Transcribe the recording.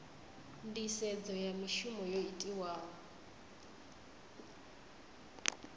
nisedzo ya mishumo yo itiwaho